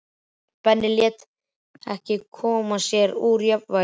Benni lét mig ekki koma sér úr jafnvægi.